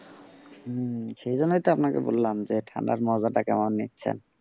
হম সেই জন্যই তো আপনাকে বললাম যে ঠান্ডার মজাটা কেমন নিচ্ছেন।